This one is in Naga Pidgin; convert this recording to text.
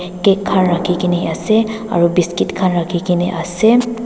Cake gar rakhe kena ase aro biscuit khan rakhe kena ase.